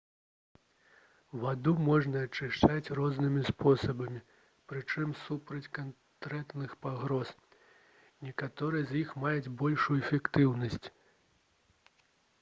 ваду можна ачышчаць рознымі спосабамі прычым супраць канкрэтных пагроз некаторыя з іх маюць большую эфектыўнасць